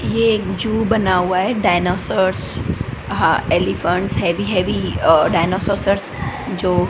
ये एक जू बना हुआ है डायनासॉर्स हा elephants heavy heavy uh dinosaurs जो--